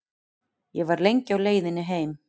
Ég var lengi á leiðinni heim.